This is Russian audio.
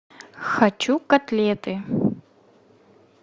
хочу котлеты